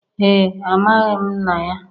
Ee, Amaghị m nna ya